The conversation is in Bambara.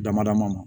Damadama ma